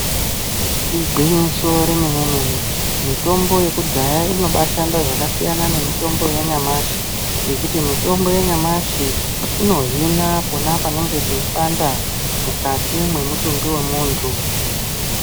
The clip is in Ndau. Igwinyiso remenemene mitombo yekudhaya inoba yashanda zvakasiyana nemitombo yanyamashi ngekuti mitombo yanyamashi inohina pona panenge peipanda mukati mwemutumbi wemuntu.